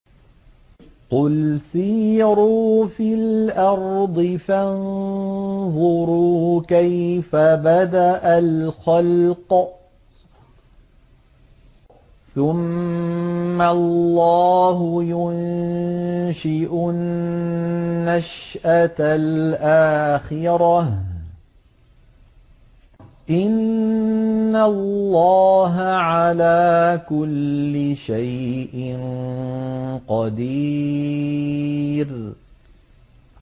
قُلْ سِيرُوا فِي الْأَرْضِ فَانظُرُوا كَيْفَ بَدَأَ الْخَلْقَ ۚ ثُمَّ اللَّهُ يُنشِئُ النَّشْأَةَ الْآخِرَةَ ۚ إِنَّ اللَّهَ عَلَىٰ كُلِّ شَيْءٍ قَدِيرٌ